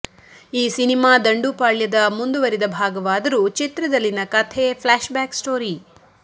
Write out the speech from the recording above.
ಈ ಸಿನಿಮಾ ದಂಡುಪಾಳ್ಯದ ಮುಂದಿವರೆದ ಭಾಗವಾದರೂ ಚಿತ್ರದಲ್ಲಿನ ಕಥೆ ಫ್ಲಾಶ್ ಬ್ಯಾಕ್ ಸ್ಟೋರಿ